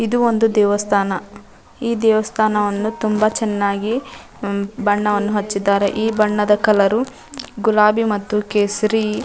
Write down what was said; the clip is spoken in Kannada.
ಇದು ಒಂದು ದೇವಸ್ಥಾನ ಈ ದೇವಸ್ಥಾನವನ್ನು ತುಂಬ ಚೆನ್ನಾಗಿ ಬಣ್ಣವನ್ನು ಹಚ್ಚಿದ್ದಾರೆ ಈ ಬಣ್ಣದ ಕಲರ್ ಗುಲಾಬಿ ಮತ್ತಿ ಕೇಸರಿ --